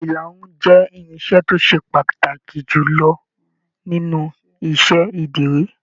Ìlarun jẹ irinṣẹ́ to se pàtàkì jùlọ nínú iṣẹ ìdírí.